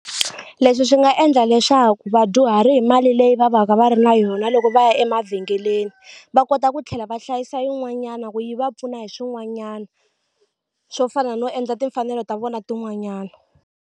Leswi swi nga endla leswaku vadyuhari hi mali leyi va va ka va ri na yona loko va ya emavhengeleni va kota ku tlhela va hlayisa yin'wanyana ku yi va pfuna hi swin'wanyana swo fana no endla timfanelo ta vona tin'wanyana.